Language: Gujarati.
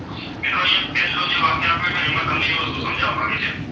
મિત્રો અહીંયા જે પહેલો વાક્ય આપેલું છે ને એમાં એ વસ્તુ સમજાવવા માગ્યું છે.